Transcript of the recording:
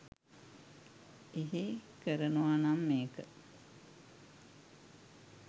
එහෙ කරනවනම් ඒක